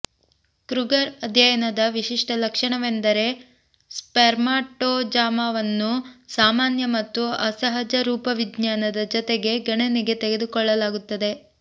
Kruger ಅಧ್ಯಯನದ ವಿಶಿಷ್ಟ ಲಕ್ಷಣವೆಂದರೆ ಸ್ಪೆರ್ಮಟಜೋವಾವನ್ನು ಸಾಮಾನ್ಯ ಮತ್ತು ಅಸಹಜ ರೂಪವಿಜ್ಞಾನದ ಜೊತೆಗೆ ಗಣನೆಗೆ ತೆಗೆದುಕೊಳ್ಳಲಾಗುತ್ತದೆ